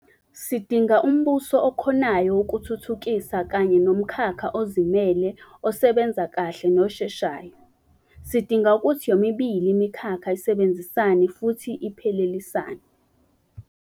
Sidinga umbuso okhonayo ukuthuthukisa kanye nomkhakha ozimele osebenza kahle nosheshayo. Sidinga ukuthi yomibili imikhakha isebenzisane futhi iphelelisane.